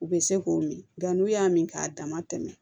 U bɛ se k'o min nka n'u y'a min k'a dama tɛmɛ